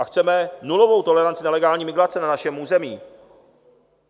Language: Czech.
A chceme nulovou toleranci nelegální migrace na našem území.